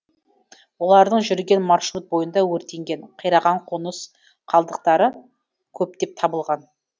олардың жүрген маршрут бойында өртенген қираған қоныс қалдықтары көптеп табылған